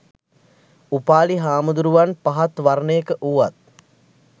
උපාලි හාමුදුරුවන් පහත් වර්ණයක වූවත්